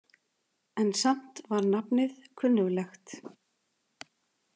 En samt var nafnið kunnuglegt.